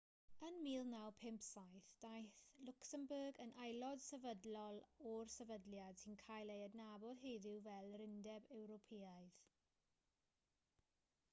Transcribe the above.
yn 1957 daeth lwcsembwrg yn aelod sefydlol o'r sefydliad sy'n cael ei adnabod heddiw fel yr undeb ewropeaidd